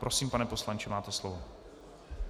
Prosím, pane poslanče, máte slovo.